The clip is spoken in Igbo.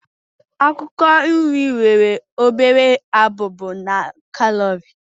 Akwụkwọ nri nwere obere abụba na kalori.